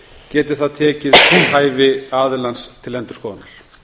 geti það tekið hæfi aðilans til endurskoðunar